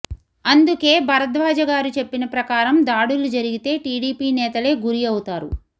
అందుకే భరద్వాజ గారు చెప్పిన ప్రకారం దాడులు జరిగితే టిడిపి నేతలే గురి అవుతారు